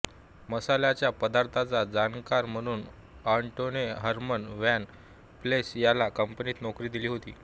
मसाल्याच्या पदार्थांचा जाणकार म्हणून ऑटोने हर्मन व्हान पेल्स याला कंपनीत नौकरी दिली होती